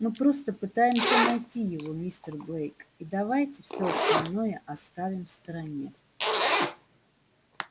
мы просто пытаемся найти его мистер блэк и давайте все остальное оставим в стороне